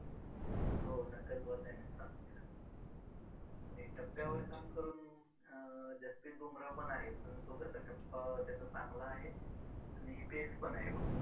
हो नक्कल ball त्यानेच चालू केला आणि टप्प्यावर काम करून अं जसप्रीत बुमराहपण आहे पण तो कसा टप्पा त्याचा चांगला आहे आणि pace पण आहे मग